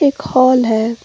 एक हॉल है।